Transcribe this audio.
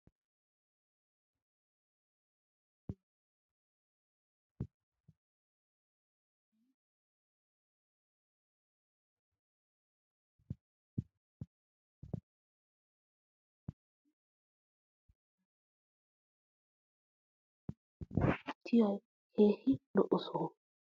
Sa'aynne yuushuwan de'iyaa ubbabay puulattidi lo'iyo heeray beettes. Bullachchay gidin harabay diyo wodiyan immata gidiya asaa hagawu shobbiyoode bana bonchchidoogee siyettana mala oottiya keehin lo'iya soho.